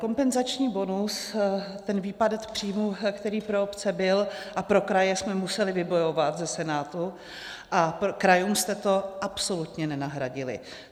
Kompenzační bonus, ten výpadek příjmů, který pro obce byl, a pro kraje, jsme museli vybojovat ze Senátu a krajům jste to absolutně nenahradili.